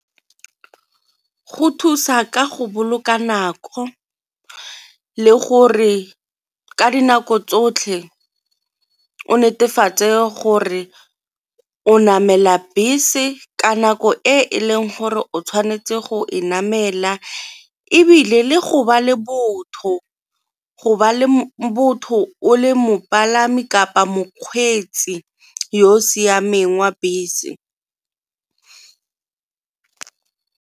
Go thusa ka go boloka nako le gore ka dinako tsotlhe o netefatse gore o namela bese ka nako e e leng gore o tshwanetse go e namela, ebile le go ba le botho go ba le botho o le mopalami kapa mokgweetsi yo o siameng wa bese.